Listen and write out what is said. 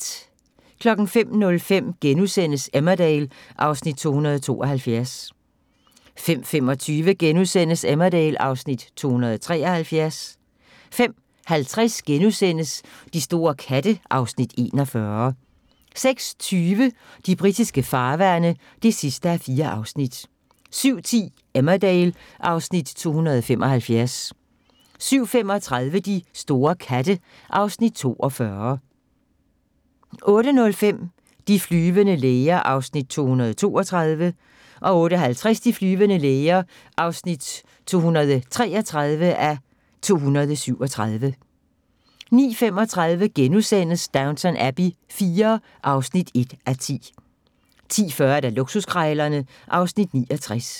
05:05: Emmerdale (Afs. 272)* 05:25: Emmerdale (Afs. 273)* 05:50: De store katte (Afs. 41)* 06:20: De britiske farvande (4:4) 07:10: Emmerdale (Afs. 275) 07:35: De store katte (Afs. 42) 08:05: De flyvende læger (232:237) 08:50: De flyvende læger (233:237) 09:35: Downton Abbey IV (1:10)* 10:40: Luksuskrejlerne (Afs. 69)